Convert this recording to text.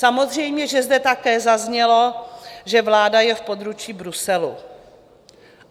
Samozřejmě že zde také zaznělo, že vláda je v područí Bruselu.